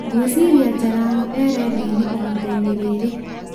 ngwĩciria jalang'o e rĩndiũ-inĩ ihinda-inĩ rĩrĩ